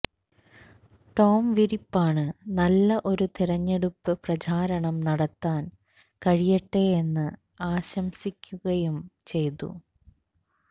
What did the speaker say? Tom വിരിപ്പാണ് നല്ല ഒരു തിരഞ്ഞെടുപ്പ് പ്രചാരണം നടത്താൻ കഴിയട്ടെ എന്ന് ആശംസിക്കുകയും ചെയ്തു